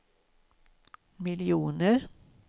miljoner